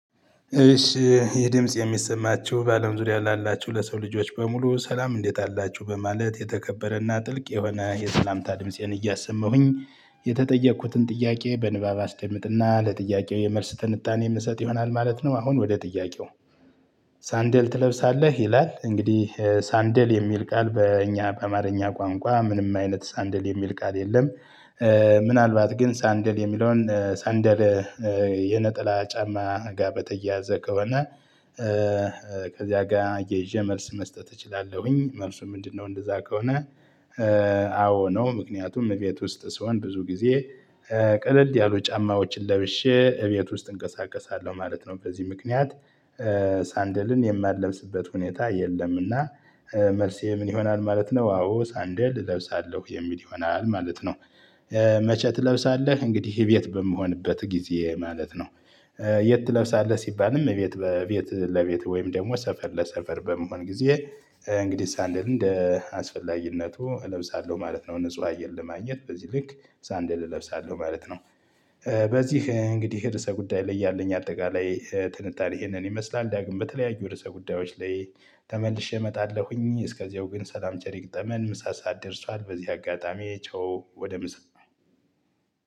እሺ ይሄጽድምጽ የሚሰማችሁ በአለም ዙሪያ ላላችሁ ለሰው ልጆች በሙሉ ሰላም እንዴት አላችሁ በማለት የተከበረና ጥልቅ የሆነ የሰላምታ ድምፄን እያሰማሁኝ የተጠየቅኩትን ጥያቄ በንባብ አስደምጥና ለጥያቄው የመልስ ትንታኔ የምሰጥ ይሆናል ማለት ነው። አሁን ወደ ጥያቄው? ሳንደል ትለብሳለህ ይላል እንግዲህ ሳንደል የሚል ቃል በእኛ በአማርኛ ቋንቋ ምንም አይነት ሳንደል የሚል ቃል የለም። ምናልባት ግን ሳንደል የሚለውን ሳንደል የነጠላ ጫማ ጋር በተያያዘ ከሆነ። ከዚያ ጋር አያይዤ መልስ መስጠት እችላለሁኝ መልሱ ምንድነው? እንደዛ ከሆነ። አዎ ነው። ምክንያቱም እቤት ውስጥ ስሆን ብዙ ጊዜ። ቀለል ያሉ ጫማዎችን ለብሼ እቤት ውስጥ እንቀሳቀሳለሁ ማለት ነው። በዚህ ምክንያት ሳንደልን የማለብስበት ሁኔታ የለምና። መልሴ ምን ይሆናል ማለት ነው። አዎ ሳንደል እለብሳለሁ የሚል ይሆናል ማለት ነው። መቼ ትለብሳለህ? እንግዲህ ይሄ ቤት በምሆንበት ጊዜ ማለት ነው። የት ትለብሳለህ? ሲባልም የቤት ቤት ለቤት ወይም ደግሞ ሰፈር ለሰፈር በምሆን ጊዜ እንግዲህ ሳንደልን እንደ አስፈላጊነቱ እለብሳለሁ ማለት ነው። ንጹህ አየር ለማግኘት በዚህ ልክ ሳንደል እለብሳለሁ ማለት ነው። በዚህ እንግዲህ ርዕሰ ጉዳይ ላይ ያለኝ አጠቃላይ ትንታኔ ይሄንን ይመስላል። ዳግም በተለያዩ ርዕሰ ጉዳዮች ላይ ተመልሼ እመጣለሁኝ። እስከዚያው ግን ሰላም ቸር ይግጠመን። ምሳ ሰዓት ደርሷል። በዚህ አጋጣሚ ቻው ወደ ምሳ